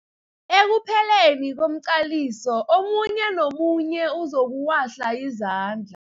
Ekupheleni komqaliso omunye nomunye uzokuwahla izandla.